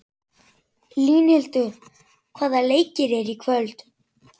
Línhildur, hvaða leikir eru í kvöld?